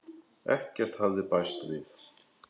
Ekkert hafði bæst við.